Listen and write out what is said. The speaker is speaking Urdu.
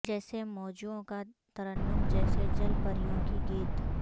جیسے موجوں کا ترنم جیسے جل پریوں کے گیت